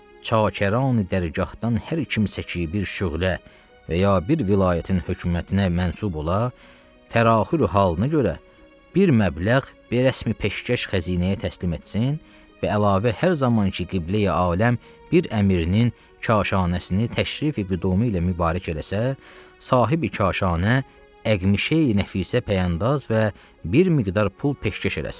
Çakəran dərgahdan hər kimsə ki bir şöylə və ya bir vilayətin hökumətinə mənsub ola, təraxüru halına görə bir məbləğ bir rəsmi peşkəş xəzinəyə təslim etsin və əlavə hər zaman ki qibləi aləm bir əmirinin kaşanəsini təşrifi qüdimi ilə mübarək eləsə, sahib-i kaşanə əqmişey nəfisə pəyandaz və bir miqdar pul peşkəş eləsin.